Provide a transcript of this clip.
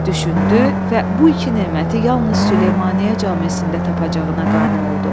Düşündü və bu iki neməti yalnız Süleymaniyə camisində tapacağına qane oldu.